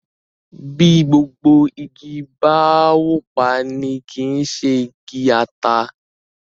bí Gbogbo ìgi bá wọ pá ní kí ṣe bí igi ata